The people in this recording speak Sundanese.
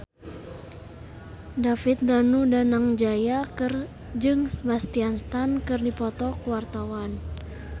David Danu Danangjaya jeung Sebastian Stan keur dipoto ku wartawan